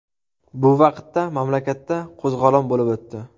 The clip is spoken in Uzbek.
Bu vaqtda mamlakatda qo‘zg‘olon bo‘lib o‘tdi.